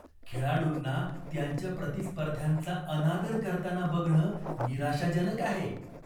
खेळाडूंना त्यांच्या प्रतिस्पर्ध्यांचा अनादर करताना बघणं निराशाजनक आहे.